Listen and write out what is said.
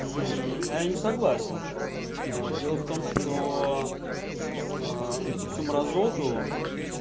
а я не согласен дело в том что вот это всю мразоту